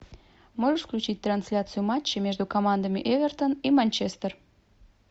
можешь включить трансляцию матча между командами эвертон и манчестер